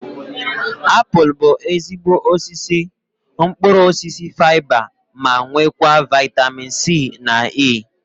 Apụl bụ ezigbo isi mkpụrụ osisi faiba ma nwekwa vaitamin C na E